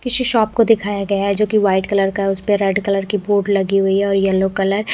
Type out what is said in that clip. किसी शॉप को दिखाया गया है जो की व्हाइट कलर का उसपे रेड कलर की बोर्ड लगी हुयी है और येल्लो कलर --